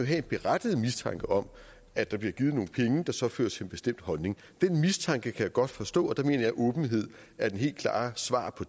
have en berettiget mistanke om at der bliver givet nogle penge der så fører til en bestemt holdning den mistanke kan jeg godt forstå og det mener jeg at åbenhed er det helt klare svar på